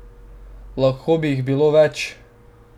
Lahko bi jih bilo več!